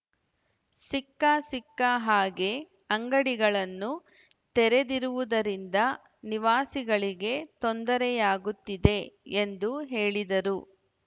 ಸಿಕ್ಕ ಸಿಕ್ಕ ಹಾಗೆ ಅಂಗಡಿಗಳನ್ನು ತೆರೆದಿರುವುದರಿಂದ ನಿವಾಸಿಗಳಿಗೆ ತೊಂದರೆಯಾಗುತ್ತಿದೆ ಎಂದು ಹೇಳಿದರು